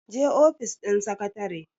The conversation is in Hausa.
je ofis din sakatare!